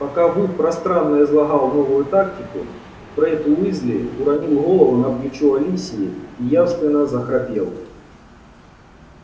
пока вуд пространно излагал новую тактику фред уизли уронил голову на плечо алисии и явственно захрапел